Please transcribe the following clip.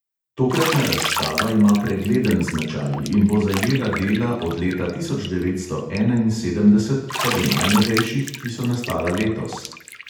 Tokratna razstava ima pregleden značaj in bo zajela dela od leta tisoč devetsto enainsedemdeset pa do najnovejših, ki so nastala letos.